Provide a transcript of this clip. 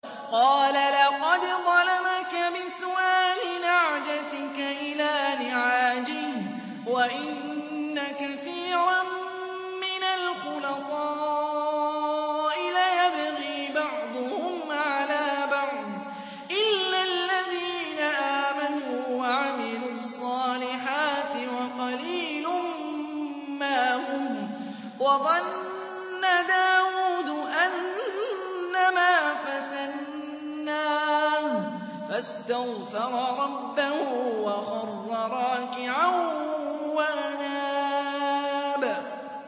قَالَ لَقَدْ ظَلَمَكَ بِسُؤَالِ نَعْجَتِكَ إِلَىٰ نِعَاجِهِ ۖ وَإِنَّ كَثِيرًا مِّنَ الْخُلَطَاءِ لَيَبْغِي بَعْضُهُمْ عَلَىٰ بَعْضٍ إِلَّا الَّذِينَ آمَنُوا وَعَمِلُوا الصَّالِحَاتِ وَقَلِيلٌ مَّا هُمْ ۗ وَظَنَّ دَاوُودُ أَنَّمَا فَتَنَّاهُ فَاسْتَغْفَرَ رَبَّهُ وَخَرَّ رَاكِعًا وَأَنَابَ ۩